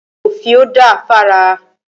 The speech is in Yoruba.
Òfìò da fára.